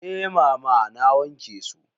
Eh mama na wanke su.